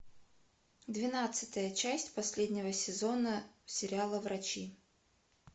двенадцатая часть последнего сезона сериала врачи